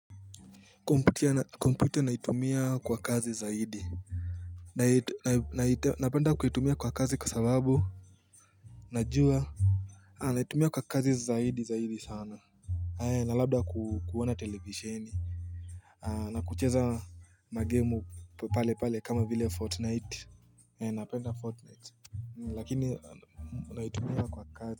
Kompyuta naitumia kwa kazi zaidi napenda kuitumia kwa kazi kwa sababu najua naitumia kwa kazi zaidi zaidi sana na labda kuona televisheni na kucheza magemu pale pale kama vile fortnite napenda fortnite lakini naitumia kwa kazi.